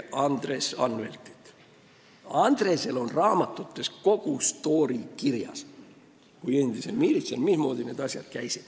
Andresel kui endisel miilitsal on oma raamatutes kogu stoori kirjas, mismoodi need asjad käisid.